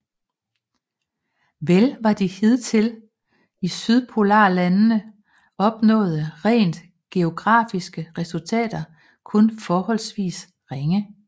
Vel var de hidtil i sydpolarlandene opnåede rent geografiske resultater kun forholdsvis ringe